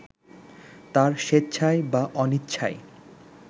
তাঁর স্বেচ্ছায় বা অনিচ্ছায়